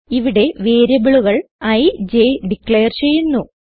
ഇവിടെ വേരിയബിളുകൾ ഇ j ഡിക്ലെയർ ചെയ്യുന്നു